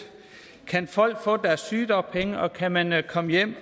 kan folk få deres sygedagpenge og kan man man komme hjem